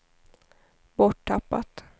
borttappat